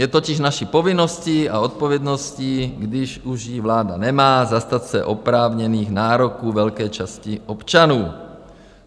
Je totiž naší povinností a odpovědností, když už ji vláda nemá, zastat se oprávněných nároků velké části občanů.